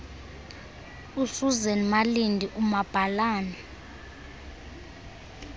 usuzan malindi umabhalane